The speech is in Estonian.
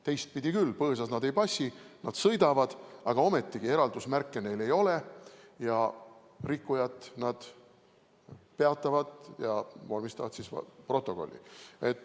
Teistpidi, põõsas nad ei passi, nad sõidavad, aga ometi eraldusmärke neil ei ole, rikkujat nad peatavad ja vormistavad protokolli.